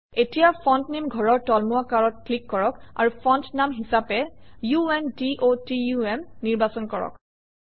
এতিয়া ফন্ট নামে ঘৰৰ তুলমুৱা কাঁড়ত ক্লিক কৰক আৰু ফণ্ট নাম হিচাপে আণ্ডটাম নিৰ্বাচন কৰক